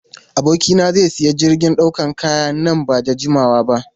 Abokina zai sayi jirgin dakon kaya nan ba da jimawa ba.